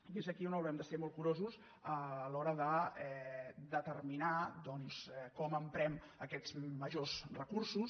i és aquí on haurem de ser molt curosos a l’hora de determinar com emprem aquests majors recursos